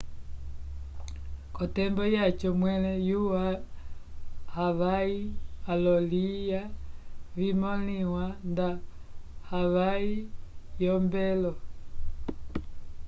k'otembo yaco mwẽle yo havai olo-ilya vimõliwa ndo havai yombwelo